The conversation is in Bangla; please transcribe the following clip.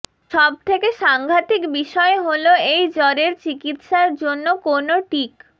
সবথেকে সাংঘাতিক বিষয় হল এই জ্বরের চিকিৎসার জন্য কোনও টীক